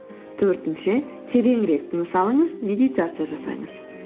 төртінші тереңірек тыныс алыңыз медитация жасаңыз